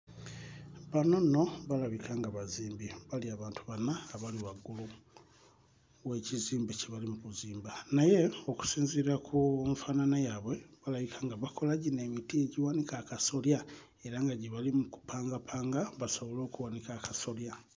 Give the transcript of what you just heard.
Bano nno balabika nga bazimbi bali abantu bana abali waggulu w'ekizimbe kye bali mu kuzimba naye okusinziira ku nfaanana yaabwe balabika nga bakola gino emiti egiwanika akasolya era nga gye bali mu kupangapanga basobole okuwanika akasolya.